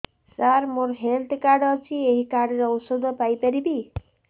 ସାର ମୋର health card ଅଛି ଏହି କାର୍ଡ ରେ ଔଷଧ ପାଇପାରିବି